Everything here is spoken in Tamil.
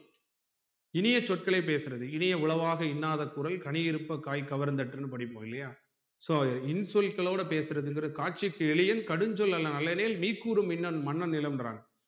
இனிய சொர்களை பேசுறது இனிய உளவாக இன்னாத குரல் கனியிருப்ப காய் கவர்ந்தற்றுனு படிப்போம் இல்லையா so இன் சொற்களோட பேசுறது என்பது காட்சிக்கு வெளியில் கடும்சொல் நீர் கூறும் மின் மன்னன் நிலம்ன்றான்